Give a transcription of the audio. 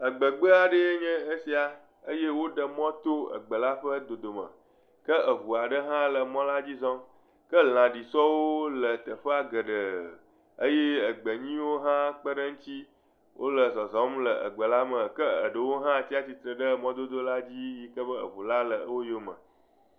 Egbegbeaɖee nye esia eye woɖe mɔ to egbe la ƒe dodome ke eŋua ɖe hã le emɔ la dzi zɔm. Ke lãɖisɔwo le teƒea geɖe eye egbe nyuie hã kpeɖe eŋuti wole zɔzɔm le egbe la me ke eɖewo hã tsia atsitre ɖe mɔdodola dzi yi ke be eŋu la le woyome